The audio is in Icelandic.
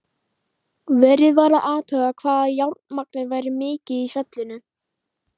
Verið var að athuga hvað járnmagnið væri mikið í fjallinu.